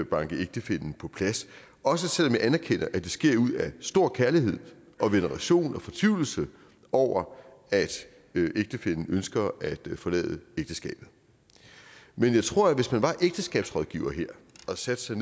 banke ægtefællen på plads også selv om jeg anerkender at det sker ud af stor kærlighed og veneration og fortvivlelse over at ægtefællen ønsker at forlade ægteskabet men jeg tror at hvis man var ægteskabsrådgiver her og satte sig